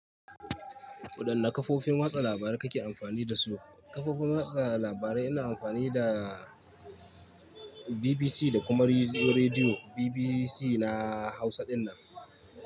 Waɗanne kafofin watsa labarai kake amfani dasu? Kafofin watsa labarai ina amfani da BBC da kuma Rediyo BBC na Hausa dinnan.